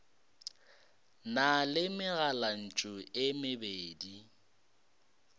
na le megalantšu e mebedi